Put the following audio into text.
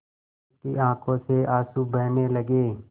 उसकी आँखों से आँसू बहने लगे